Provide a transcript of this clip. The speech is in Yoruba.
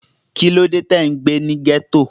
Kí ló dé tí ò ń gbé ní ghetto?